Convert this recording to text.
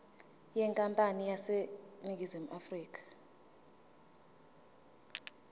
yenkampani eseningizimu afrika